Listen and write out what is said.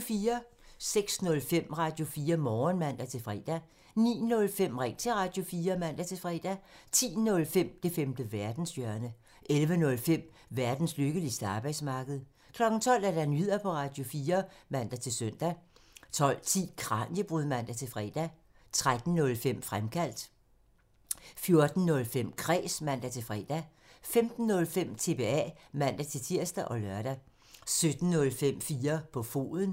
06:05: Radio4 Morgen (man-fre) 09:05: Ring til Radio4 (man-fre) 10:05: Det femte verdenshjørne (man) 11:05: Verdens lykkeligste arbejdsmarked (man) 12:00: Nyheder på Radio4 (man-søn) 12:10: Kraniebrud (man-fre) 13:05: Fremkaldt (man) 14:05: Kræs (man-fre) 15:05: TBA (man-tir og lør) 17:05: 4 på foden (man)